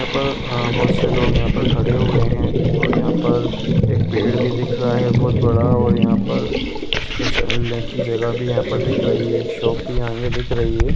यहाँ पर अ बहुत से लोग यहाँ पर खड़े हुए हैं और यहाँ पर एक पेड़ भी दिख रहा है बहुत बड़ा और यहाँ पर कुछ फसल ने की जगह यहाँ पर दिख रही है। एक शॉप भी आगे दिख रही है।